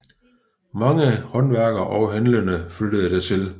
Mange håndværkere og handlende flyttede dertil